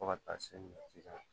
Fo ka taa se misi kan